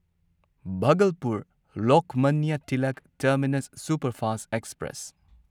Bhagalpur Lokmanya Tilak Terminus Superfast express